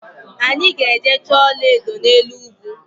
Anyi ga-eje choo ola edo n'elu ugwu